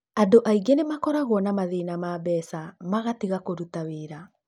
Andũ aingĩ nĩ makoragwo nĩ mathĩĩna ma mbeca matiga kũruta wĩra.